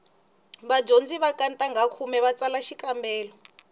vadyondzi va ka ntangha khume va ta tsala xikambelo